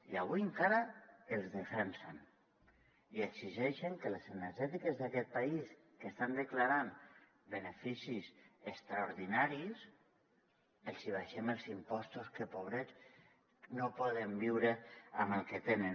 i avui encara els defensen i exigeixen que a les energètiques d’aquest país que estan declarant beneficis extraordinaris els hi abaixem els impostos que pobrets no poden viure amb el que tenen